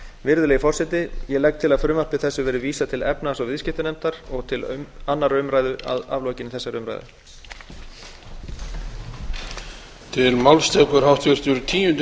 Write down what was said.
virðulegi forseti ég legg til að frumvarpi þessu verði vísað til efnahags og viðskiptanefndar og til annarrar umræðu að aflokinni þessari umræðu